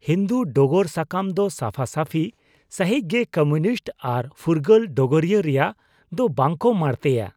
ᱦᱤᱱᱫᱩ ᱰᱚᱜᱚᱨ ᱥᱟᱠᱟᱢ ᱫᱚ ᱥᱟᱯᱷᱟᱼᱥᱟᱹᱯᱷᱤ ᱥᱟᱹᱦᱤᱡ ᱜᱮ ᱠᱚᱢᱤᱭᱩᱱᱤᱥᱴ ᱟᱨ ᱯᱷᱩᱨᱜᱟᱹᱞ ᱰᱚᱜᱚᱨᱤᱭᱟᱹ ᱨᱮᱭᱟᱜ ᱫᱚ ᱵᱟᱠᱚ ᱢᱟᱲᱛᱮᱭᱟ ᱾